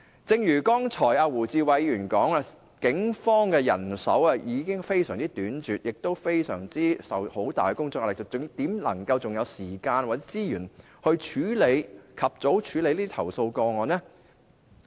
正如胡志偉議員剛才所說，警方的人手已經非常短拙，亦承受很大的工作壓力，還怎會有時間或資源及早處理投訴個案呢？